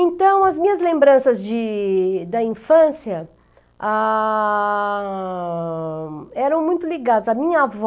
Então, as minhas lembranças de da infância ah... Eram muito ligadas à minha avó,